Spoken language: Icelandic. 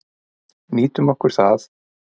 Nýtum okkur það.